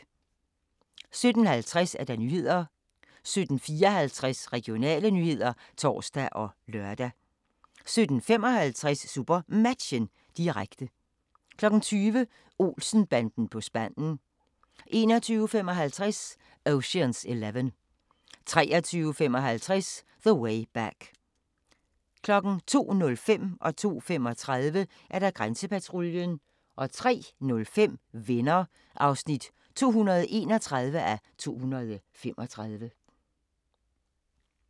17:50: Nyhederne 17:54: Regionale nyheder (tor og lør) 17:55: SuperMatchen, direkte 20:00: Olsen-banden på spanden 21:55: Ocean's Eleven 23:55: The Way Back 02:05: Grænsepatruljen 02:35: Grænsepatruljen 03:05: Venner (231:235)